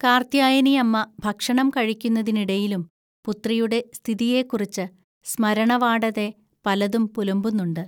കാർത്യായനിഅമ്മ ഭക്ഷണം കഴിക്കുന്നതിനിടയിലും പുത്രിയുടെ സ്ഥിതിയെക്കുറിച്ച് സ്മരണവാടതെ പലതും പുലമ്പുന്നുണ്ട്